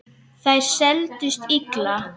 Þær seldust illa.